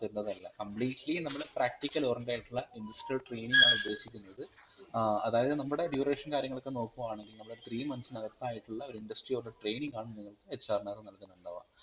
തരുന്നത് അല്ല completely നമ്മൾ practical oriented ആയിട്ടുള്ള Industrial Training ആണുദ്ദേശിക്കുന്നത് ഏർ അതായത് നമ്മുടെ duration കാര്യങ്ങളൊക്കെ നോക്കുകയാണെങ്കിൽ നമ്മൾ THREE MONTHS ന്കത്തായിട്ടുള്ള ഒരു industry oriented training ആണ് നിങ്ങൾക് HR നകത് നല്കുന്നുണ്ടാവ.